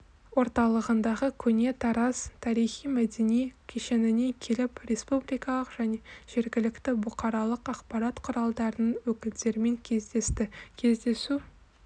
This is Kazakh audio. орталығындағы көне тараз тарихи-мәдени кешеніне келіп республикалық және жергілікті бұқаралық ақпарат құралдарының өкілдерімен кездесті кездесу